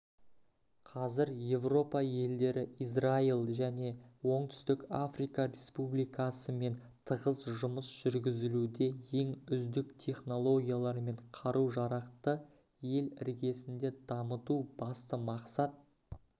қазір еуропа елдері израиль және оңтүстік африка республикасымен тығыз жұмыс жүргізілуде ең үздік технологиялар мен қару-жарақты ел іргесінде дамыту басты мақсат